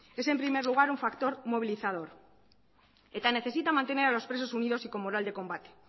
es en primer lugar un factor movilizador eta necesita mantener a los presos unidos y con moral de combate